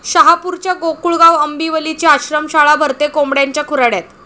शहापूरच्या गोकुळगाव आंबिवलीची आश्रमशाळा भरते कोंबड्यांच्या खुराड्यात